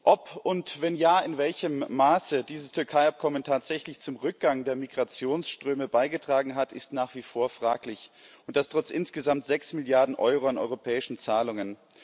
Ob und wenn ja, in welchem Maße dieses Türkei Abkommen tatsächlich zum Rückgang der Migrationsströme beigetragen hat, ist nach wie vor fraglich, und das trotz insgesamt sechs Milliarden Euro an europäischen Zahlungen.